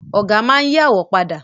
Ọ̀gá máa n yí àwo padà